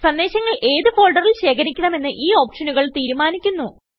സന്ദേശങ്ങൾ ഏത് ഫോൾഡറിൽ ശേഖരിക്കണമെന്ന് ഈ ഓപ്ഷനുകൾ തീരുമാനിക്കുന്നു